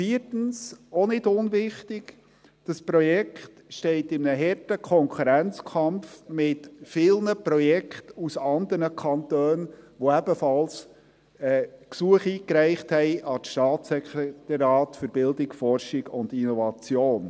Viertens, auch nicht unwichtig: Das Projekt steht in einem harten Konkurrenzkampf zu vielen Projekten aus anderen Kantonen, welche ebenfalls Gesuche an das BFI eingereicht haben.